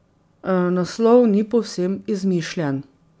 Naslov ni povsem izmišljen.